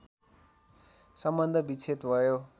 सम्बन्ध विच्छेद भयो